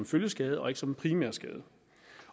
følgeskade og ikke som en primær skade